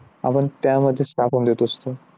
आपण त्यामध्येच टाकून देत असतो.